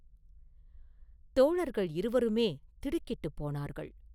தோழர்கள் இருவருமே திடுக்கிட்டுப் போனார்கள்.